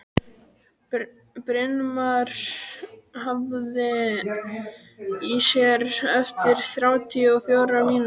Brynmar, heyrðu í mér eftir þrjátíu og fjórar mínútur.